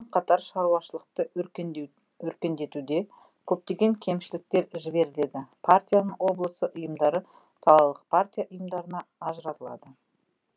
қатар шаруашылықты өркендетуде көптеген кемшіліктер жіберіледі партияның облысы ұйымдары салалық партия ұйымдарына ажыратылады